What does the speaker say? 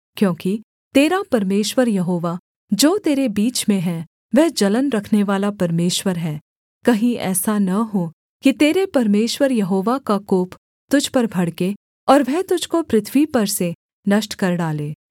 क्योंकि तेरा परमेश्वर यहोवा जो तेरे बीच में है वह जलन रखनेवाला परमेश्वर है कहीं ऐसा न हो कि तेरे परमेश्वर यहोवा का कोप तुझ पर भड़के और वह तुझको पृथ्वी पर से नष्ट कर डाले